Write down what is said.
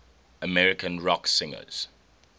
american rock singers